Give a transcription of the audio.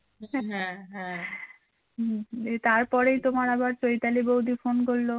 তারপরেই তোমার আবার চৈতালি বৌদি phone করলো